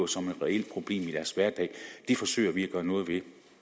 som et reelt problem i deres hverdag det forsøger vi at gøre noget ved